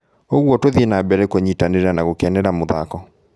ũguo tũthie na mbere kũnyitanĩra na gũkenera mũthako.